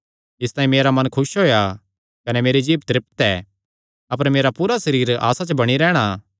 इसतांई मेरा मन खुस होएया कने मेरी जीभ भी तृप्त ऐ अपर मेरा पूरा सरीर आसा च बणी रैहणा